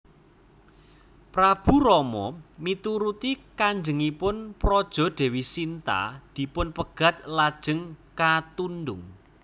Prabu Rama mituruti kajengipun praja Déwi Sinta dipunpegat lajeng katundhung